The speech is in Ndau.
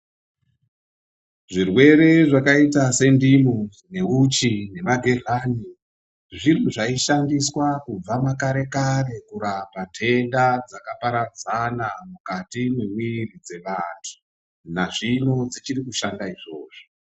Zvirwere zvakaita sendimu, neuchi nenagehlani zvinhu zvaishandiswa kare kurapa ndenda dzakaparadzana mwukati mwemwiri dzevanhu dzevantu. Nazvino dzichiri kushanda izvozvo.